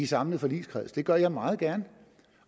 samlet forligskreds det gør jeg meget gerne